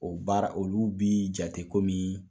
O baara olu bi jate komin